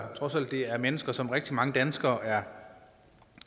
trods alt er mennesker som rigtig mange danskere er